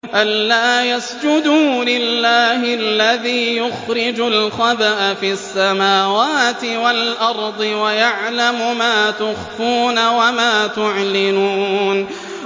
أَلَّا يَسْجُدُوا لِلَّهِ الَّذِي يُخْرِجُ الْخَبْءَ فِي السَّمَاوَاتِ وَالْأَرْضِ وَيَعْلَمُ مَا تُخْفُونَ وَمَا تُعْلِنُونَ